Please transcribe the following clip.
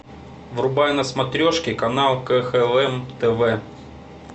врубай на смотрешке канал кхл тв